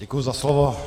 Děkuji za slovo.